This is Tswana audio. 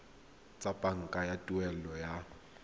tsa banka tsa tuelo ya